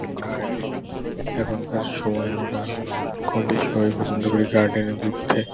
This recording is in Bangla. গার্ডেন এখনকার সময় আমরা কম বেশি সবাই পছন্দ করি গার্ডেন -এ ঘুরতে ।